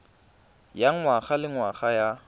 ya ngwaga le ngwaga ya